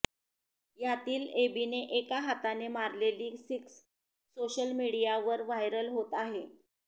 यातली एबीने एका हाताने मारलेली सिक्स सोशल मीडियावर व्हायरल होत आहे